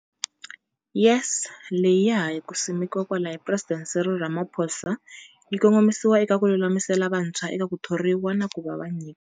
YES, leyi ya ha ku simekiwaka hi Presidente Cyril Ramaphosa, yi kongomisiwa eka ku lulamisela vantshwa eka ku thoriwa na ku va nyika.